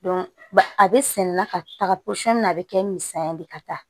a bɛ sɛnɛ la ka taga pɔsɔni na a bɛ kɛ misaliya de ye ka taa